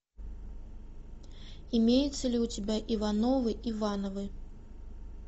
имеется ли у тебя ивановы ивановы